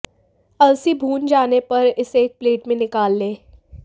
अलसी भून जाने पर इसे एक प्लेट में निकाल लें